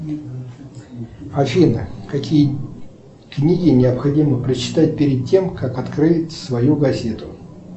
афина какие книги необходимо прочитать перед тем как открыть свою газету